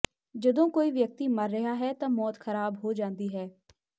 ਜਦੋਂ ਕੋਈ ਵਿਅਕਤੀ ਮਰ ਰਿਹਾ ਹੈ ਤਾਂ ਮੌਤ ਖਰਾਬ ਹੋ ਜਾਂਦੀ ਹੈ